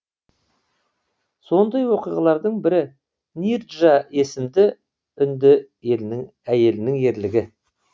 сондай оқиғалардың бірі нирджа есімді үнді әйелінің ерлігі